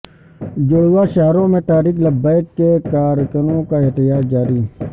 جڑواں شہروں میں تحریک لبیک کے کارکنوں کا احتجاج جاری